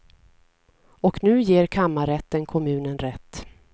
Och nu ger kammarrätten kommunen rätt.